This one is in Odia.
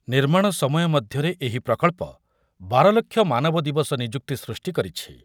ନିର୍ମାଣ ସମୟ ମଧ୍ୟରେ ଏହି ପ୍ରକଳ୍ପ ବାର ଲକ୍ଷ ମାନବ ଦିବସ ନିଯୁକ୍ତି ସୃଷ୍ଟି କରିଛି ।